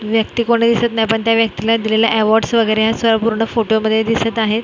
ही व्यक्ती कोण आहे दिसत नाही पण त्या व्यक्तीला दिलेले अवॉर्ड्स वगैरे असं पूर्ण फोटोमध्ये दिसत आहे.